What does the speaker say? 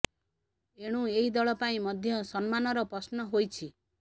ଏଣୁ ଏହି ଦଳ ପାଇଁ ମଧ୍ୟ ସମ୍ମାନର ପ୍ରଶ୍ନ ହୋଇଛି